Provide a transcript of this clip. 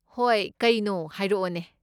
ꯍꯣꯏ, ꯀꯩꯅꯣ ꯍꯥꯏꯔꯛꯑꯣꯅꯦ꯫